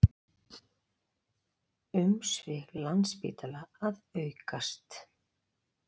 Umsvif Landspítala að aukast